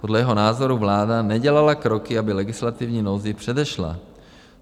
Podle jeho názoru vláda nedělala kroky, aby legislativní nouzi předešla.